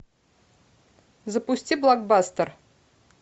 запусти блокбастер